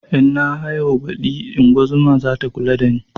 In na haihu baɗi ingozuma zata kula da ni